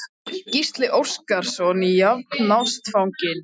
Gísli Óskarsson: Jafnástfanginn?